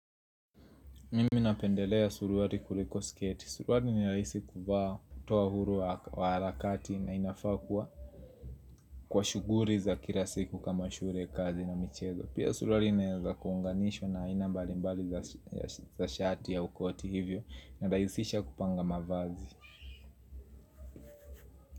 Mimi napendelea suruari kuliko sketi. Suruari ni rahisi kuvaa toa huru wa arakati na inafakwa kwa shuguri za kila siku kama shure kazi na michezo. Pia suruari inaeza kuhunganishwa na ainambali mbali za shati au koti hivyo na rahisisha kupanga mavazi.